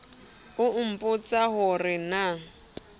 a nbotsa ho re na